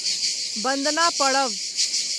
बन्दना पड़ब